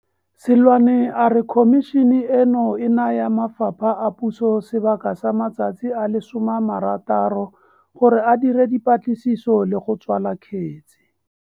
Seloane a re Khomišene eno e naya mafapha a puso sebaka sa matsatsi a le 60 gore a dire dipatliso le go tswala kgetse.